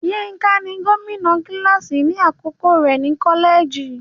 Yínká ni gómìnà kíláàsì ní àkókò rẹ̀ ní kọ́lẹ́ẹ̀jì.